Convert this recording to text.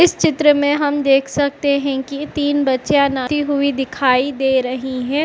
इस चित्र में हम देख सकते हैं कि तीन बचेया ना ती हुई दिखाई दे रहीं हैं।